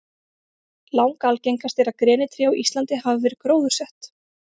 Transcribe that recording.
Langalgengast er að grenitré á Íslandi hafi verið gróðursett.